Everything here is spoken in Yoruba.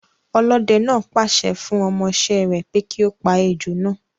Ọlọ́dẹ náà pa àṣẹ fun ọmọ ìṣe re pé kí ó pa ejò naa